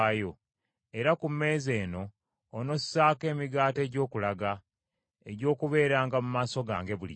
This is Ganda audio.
Era ku mmeeza eno onossaako Emigaati egy’Okulaga, egy’okubeeranga mu maaso gange bulijjo.